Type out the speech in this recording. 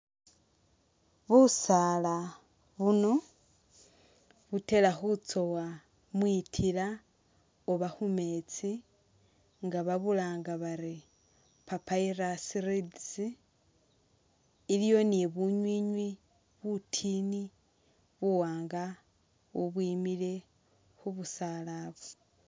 Busaala buno butela khutsoowa mwitila oba khumeetsi nga babulanga bari papyrus reeds iliwo ni bunywinywi butini buwaanga bubwimile khubusaala bu